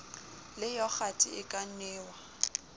le yogathe e ka nwewa